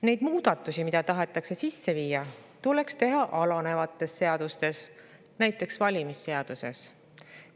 Neid muudatusi, mida tahetakse sisse viia, tuleks teha alanevates seadustes, näiteks valimisseaduses.